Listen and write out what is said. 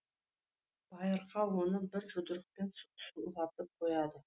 байырқа оны бір жұдырықпен сұлатып қояды